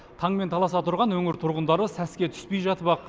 таңмен таласа тұрған өңір тұрғындары сәске түспей жатып ақ